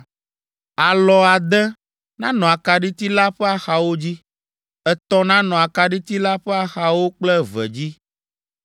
“Alɔ ade nanɔ akaɖiti la ƒe axawo dzi, etɔ̃ nanɔ akaɖiti la ƒe axawo kple eve dzi.